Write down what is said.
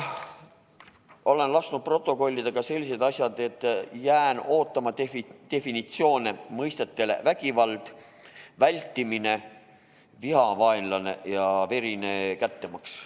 Olen lasknud protokollida ka sellised asjad, et jään ootama definitsioone mõistetele "vägivald", "vältimine", "vihavaenlane" ja "verine kättemaks".